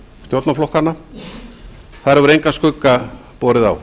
stjórnarflokkanna þar hefur engan skugga borið á